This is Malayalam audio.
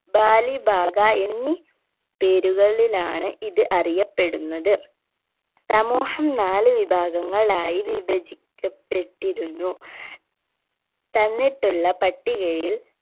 ബാലി ബാക എന്നീ പേരുകളിലാണ് ഇത് അറിയപ്പെടുന്നത് സമൂഹം നാല് വിഭാഗങ്ങളായി വിഭചിക്കപ്പെട്ടിരുന്നു തന്നിട്ടുള്ള പട്ടികയിൽ